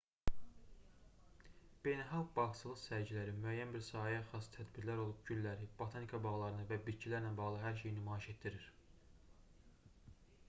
beynəlxalq bağçılıq sərgiləri müəyyən bir sahəyə xas tədbirlər olub gülləri botanika bağlarını və bitkilərlə bağlı hər şeyi nümayiş etdirir